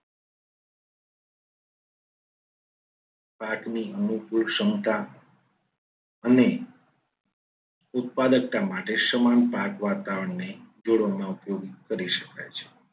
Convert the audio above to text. પાકની અનુકૂળ ક્ષમતા અને ઉત્પાદકતા માટે સમાન ભાગ વાતાવરણને જોડવામાં ઉપયોગી કરી શકાય છે.